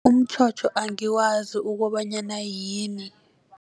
Umtjhotjho angiwazi ukobanyana yini.